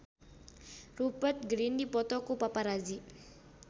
Rupert Grin dipoto ku paparazi